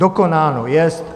Dokonáno jest.